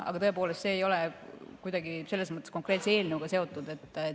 Aga tõepoolest, see ei ole kuidagi selle konkreetse eelnõuga seotud.